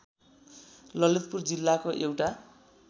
ललितपुर जिल्लाको एउटा